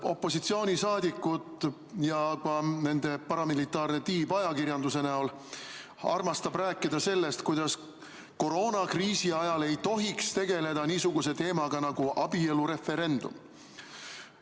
Opositsiooni liikmed ja ka nende paramilitaarne tiib ajakirjanduse näol armastab rääkida sellest, kuidas koroonakriisi ajal ei tohiks tegeleda niisuguse teemaga nagu abielureferendum.